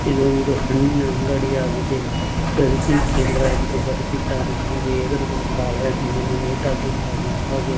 ಇದೊಂದು ಹಣ್ಣಿನ ಅಂಗಡಿ ಆಗಿದೆ ಖರೀದಿ ಕೇಂದ್ರ ಎಂದು ಬರ್ದಿದ್ದಾನೆ ಹಾಗೆ ಎದುರುಗಡೆ ಬಾಳೆಹಣ್ಣಿನನ್ನು ನೇತಾಕಿದ್ದಾನೆ ಹಾಗೆ --